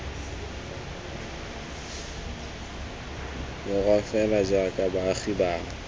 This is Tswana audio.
borwa fela jaaka baagi bangwe